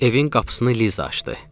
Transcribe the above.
Evin qapısını Liza açdı.